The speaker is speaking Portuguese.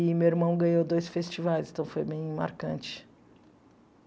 E meu irmão ganhou dois festivais, então foi bem marcante.